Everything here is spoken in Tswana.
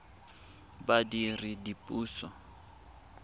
badiredipuso